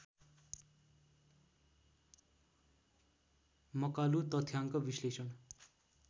मकालु तथ्याङ्क विश्लेषण